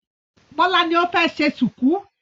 Bọ́lá ni ó fẹ́ ṣe ṣùkú.